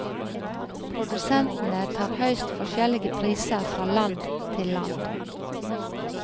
Produsentene tar høyst forskjellige priser fra land til land.